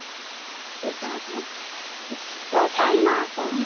ସେଇଟା ତା ନାଁ କଣ, କଣ?